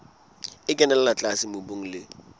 e kenella tlase mobung le